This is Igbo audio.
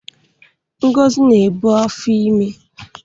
Ngozi na-ebu afọ ime.